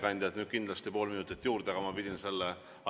Ma väga vabandan, hea ettekandja, nüüd saate kindlasti pool minutit juurde.